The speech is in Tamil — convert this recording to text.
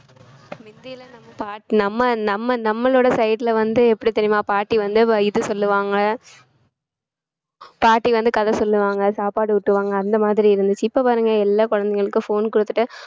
மிந்திலாம் நம்ம பாட்~ நம்ம நம்மளோட side ல வந்து எப்படி தெரியுமா பாட்டி வந்து இது சொல்லுவாங்க பாட்டி வந்து கதை சொல்லுவாங்க சாப்பாடு ஊட்டுவாங்க அந்த மாதிரி இருந்துச்சு இப்ப பாருங்க எல்லா குழந்தைகளுக்கும் phone கொடுத்துட்டு